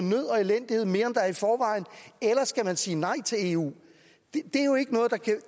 mere er i forvejen eller skal man sige nej til eu